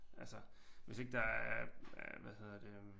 Altså hvis ikke der er øh hvad hedder det øh